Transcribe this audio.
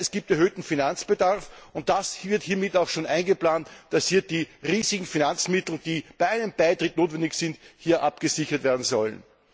Man weiß, es gibt erhöhten Finanzbedarf, und hiermit wird auch schon eingeplant, dass die riesigen Finanzmittel, die bei einem Beitritt notwendig sind, hier abgesichert werden sollen.